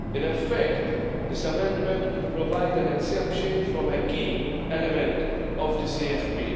In effect, this amendment would provide an exemption from a key element of the CFP.